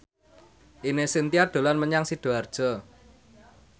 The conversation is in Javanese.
Ine Shintya dolan menyang Sidoarjo